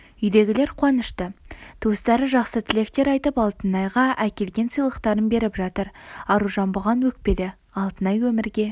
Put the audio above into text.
үйдегілер қуанышты туыстары жақсы тілектер айтып алтынайға әкелген сыйлықтарын беріп жатыр аружан бұған өкпелі алтынай өмірге